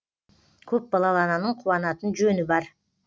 көп балалы ананың куанатын жөні бар